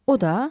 O da?